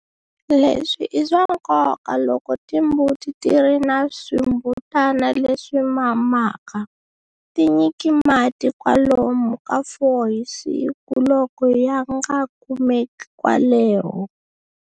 Leswi i swa nkoka loko timbuti ti ri na swimbutana leswi mamaka. Ti nyiki mati kwalomu ka 4 hi siku loko ya nga kumeki kwaleho.